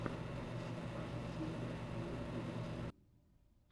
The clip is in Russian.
саша спилберг на ютюбе